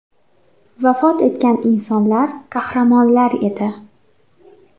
Vafot etgan insonlar, qahramonlar edi.